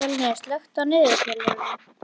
Fjölnir, slökktu á niðurteljaranum.